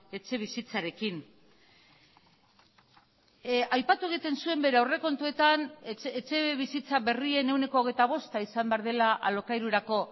etxebizitzarekin aipatu egiten zuen bere aurrekontuetan etxebizitza berrien ehuneko hogeita bosta izan behar dela alokairurako